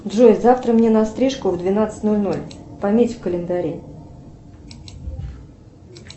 джой завтра мне на стрижку в двенадцать ноль ноль пометь в календаре